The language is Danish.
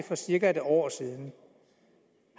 for cirka et år siden